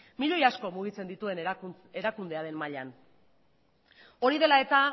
miloi asko mugitzen dituen erakundearen mailan hori dela eta